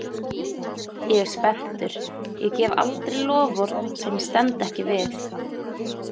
Ég er spenntur, ég gef aldrei loforð sem ég stend ekki við.